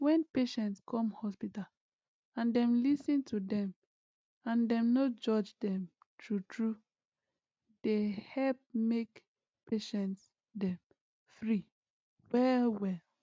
wen patient come hospital and dem lis ten to dem and dem no judge dem true truee dey help make patient dem free well well